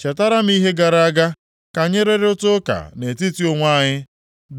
Chetara m ihe gara aga, ka anyị rụrịta ụka nʼetiti onwe anyị,